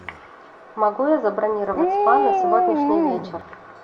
могу я забронировать спа на сегодняшний вечер